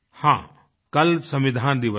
हाँ कल संविधान दिवस है